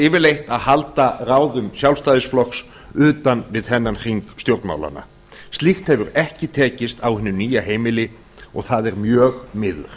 yfirleitt að halda ráðum sjálfstæðisflokks utan við þennan hring stjórnmálanna slíkt hefur ekki tekist á hinu nýja heimili og það er mjög miður